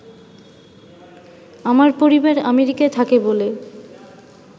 আমার পরিবার আমেরিকায় থাকে বলে